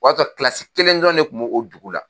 O y'a sɔrɔ kelen dɔrɔn ne kun b'o o dugu la.